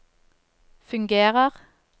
fungerer